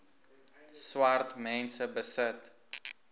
swart mense besit